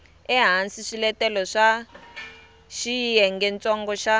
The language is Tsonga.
ehansi swiletelo swa xiyengentsongo xa